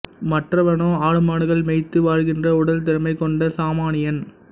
மற்றவனோ ஆடுமாடுகள் மேய்த்து வாழ்கின்ற உடல் திறமை கொண்ட சாமானியன்